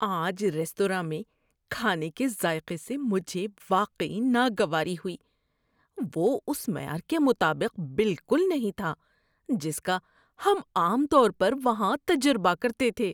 آج ریستوراں میں کھانے کے ذائقے سے مجھے واقعی ناگواری ہوئی۔ وہ اس معیار کے مطابق بالکل نہیں تھا جس کا ہم عام طور پر وہاں تجربہ کرتے تھے۔